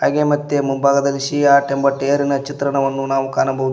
ಹಾಗೆ ಮತ್ತೆ ಮುಂಭಾಗದಲ್ಲಿ ಸಿಯಾಟ್ ಎಂಬ ಚಿತ್ರಣವನ್ನು ನಾವು ಕಾಣಬಹುದು.